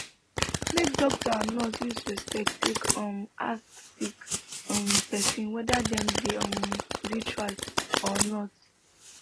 make doctor and nurse use respect take um ask sick um pesin wether dem dey um spiritual or not